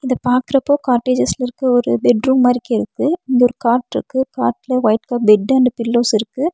இத பாக்குறப்போ காட்டேஜெஸ்ல இருக்க ஒரு பெட் ரூம் மாரிக்கிருக்கு இங்க ஒரு காட்ருக்கு காட்ல ஒயிட் க பெட் அண்ட் பில்லோஸ் இருக்கு.